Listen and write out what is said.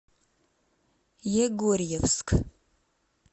егорьевск